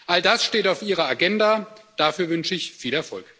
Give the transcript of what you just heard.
All das steht auf Ihrer Agenda, dafür wünsche ich viel Erfolg.